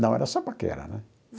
Não, era só paquera, né?